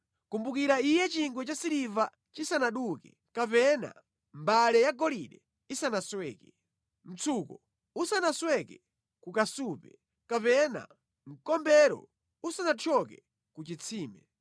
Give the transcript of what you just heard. Kumbukira Iye chingwe cha siliva chisanaduke, kapena mbale yagolide isanasweke; mtsuko usanasweke ku kasupe, kapena mkombero usanathyoke ku chitsime.